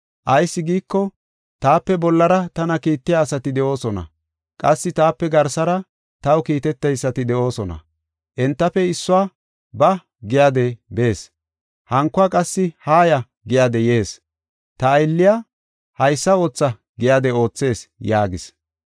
Ayis giiko, taape bollara tana kiittiya asati de7oosona, qassi taape garsara taw kiiteteysati de7oosona. Entafe issuwa, ‘Ba’ giyade bees; hankuwa qassi ‘Haaya!’ giyade yees. Ta aylliya, ‘Haysa ootha’ giyade oothees” yaagis.